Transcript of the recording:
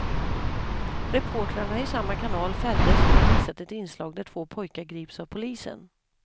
Reportrarna i samma kanal fälldes för att ha visat ett inslag där två pojkar grips av polisen.